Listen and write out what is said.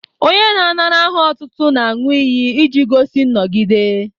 Onye na-anara aha otútú n'aṅu iyi iji gosi nnọgide